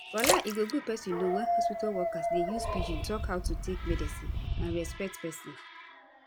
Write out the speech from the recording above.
walai e go good pesin know wen hospitol workers dey use pidgin talk how to take medicine and respect pesin